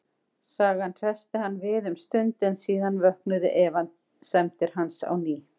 Sagan hressti hann við um stund, en síðan vöknuðu efasemdir hans á ný.